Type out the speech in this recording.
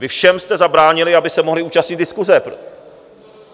Vy jste všem zabránili, aby se mohli účastnit diskuse.